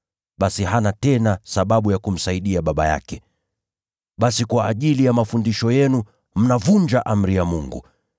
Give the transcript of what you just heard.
basi hana tena sababu ya kumheshimu baba yake nacho. Basi kwa ajili ya mafundisho yenu mnavunja amri ya Mungu.